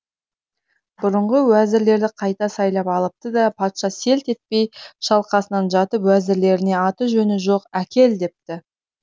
бұрынғы уәзірлерді қайта сайлап алыпты да патша селт етпей шалқасынан жатып уәзірлеріне аты жөні жоқ әкел депті